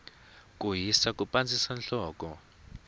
ku hisa ku pandzisa nhloko